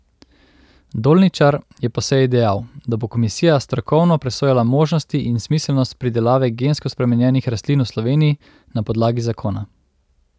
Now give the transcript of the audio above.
Dolničar je po seji dejal, da bo komisija strokovno presojala možnosti in smiselnost pridelave gensko spremenjenih rastlin v Sloveniji na podlagi zakona.